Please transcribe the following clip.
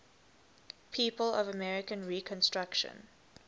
people of american reconstruction